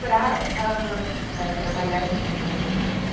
para ãh... trabalhar com criança de creche.